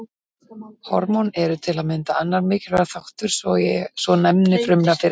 Hormón eru til að mynda annar mikilvægur þáttur svo og næmni frumna fyrir þeim.